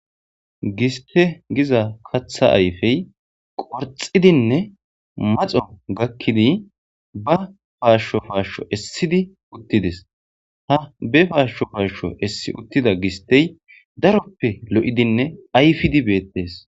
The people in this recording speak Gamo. Giste giza kaththa ayfey qorixidinne maxo gakid pashsho pahsho esidi eqides ha be pashsho pahsho esid utida gistey daroppe lo'idinne ayfid bettes